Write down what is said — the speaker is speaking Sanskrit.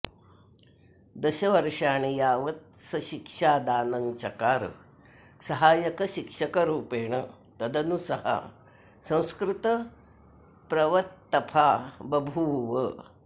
दशवर्षाणि यावत् स शिक्षादानं चकार सहायकशिक्षकरूपेण तदनु स संस्कृतप्रवत्तफा बभूव